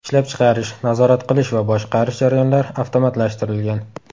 Ishlab chiqarish, nazorat qilish va boshqarish jarayonlari avtomatlashtirilgan.